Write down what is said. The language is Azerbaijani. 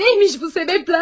Neymiş bu sebebler?